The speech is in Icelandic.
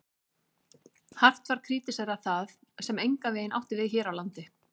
Hart var krítiserað það, sem engan veginn átti við hér á landi.